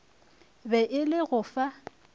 be e le go fa